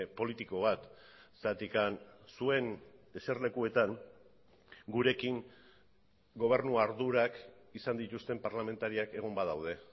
politiko bat zergatik zuen eserlekuetan gurekin gobernu ardurak izan dituzten parlamentariak egon badaude